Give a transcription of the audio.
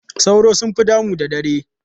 Sauro sun fi damu da dare.